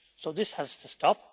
This has to stop